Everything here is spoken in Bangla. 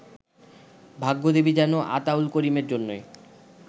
ভাগ্যদেবী যেন আতাউল করিমের জন্যই